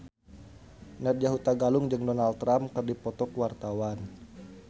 Nadya Hutagalung jeung Donald Trump keur dipoto ku wartawan